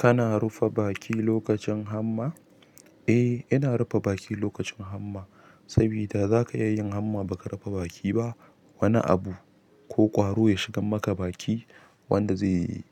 Kana rufe baki lokacin hamma? Eh ina rufe baki lokacin hamma sabida zaka iya yin hamma baka rufe baki ba wani abu ko ƙwaro ya shigar maka baki wanda zai,